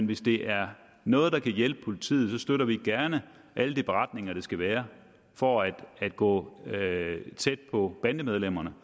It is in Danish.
hvis det er noget der kan hjælpe politiet så støtter vi gerne alle de beretninger det skal være for at gå tæt på bandemedlemmerne